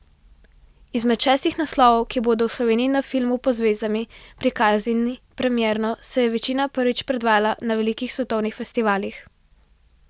Izmed šestih naslovov, ki bodo v Sloveniji na Filmu pod zvezdami prikazani premierno, se je večina prvič predvajala na velikih svetovnih festivalih.